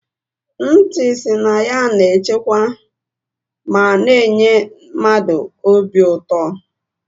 Nti si na ya na echekwa ma na -enye mmadụ obi ụtọ.